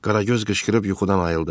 Qaragöz qışqırıb yuxudan ayıldı.